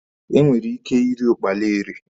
E nwere ike iri ụkpala eri.